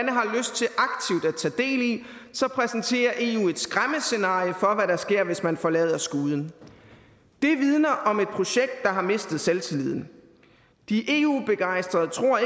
tage del i præsenterer eu et skræmmescenarie for hvad der sker hvis man forlader skuden det vidner om et projekt der har mistet selvtilliden de eu begejstrede tror